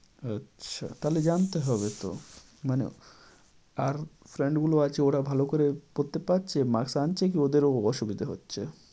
আচ্ছা। তাহলে জানতে হবে তো। মানে আর friend গুলো আছে ওরা ভালো করে পড়তে পারছে, marks আনছে কি ওদেরও অসুবিধা হচ্ছে?